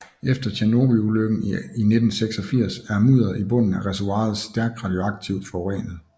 Efter Tjernobylulykken i 1986 er mudderet i bunden af reservoiret stærkt radioaktivt forurenet